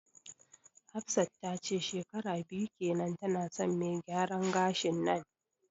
Hafsat tace shekara biyu kenan tana son me gyaran gashin nan